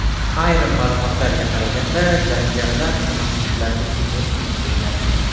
Ayrim ma’lumotlarga qaraganda, jangarilar masjidlarga hujum uyushtirgan.